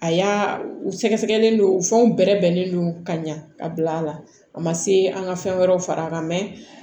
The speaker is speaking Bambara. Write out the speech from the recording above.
A y'a u sɛgɛsɛgɛlen don u fɛnw bɛrɛnnen don ka ɲa ka bila a la a ma se an ka fɛn wɛrɛw fara a kan mɛ